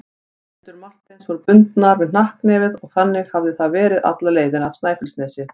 Hendur Marteins voru bundnar við hnakknefið og þannig hafði það verið alla leiðina af Snæfellsnesi.